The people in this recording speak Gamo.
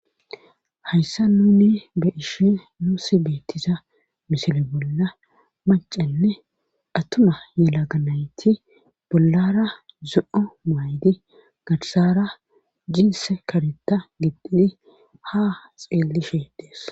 Hayssa nuni be ishe nuusi beettisa misili bolla macenne attuma yela ganayti bollara zu7u maaydi garsara jiise kareta giddhidi ha xeelishe dees